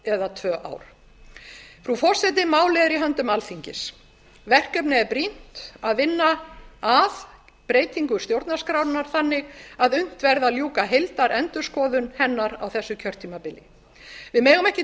eða tvö ár frú forseti málið er í höndum alþingis verkefnið er brýnt að vinna að breytingu stjórnarskrárinnar þannig að unnt verði að ljúka heildarendurskoðun hennar á þessu kjörtímabili við megum ekki